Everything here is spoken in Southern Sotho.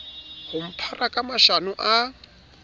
ho mphara ka mashano a